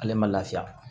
Ale ma lafiya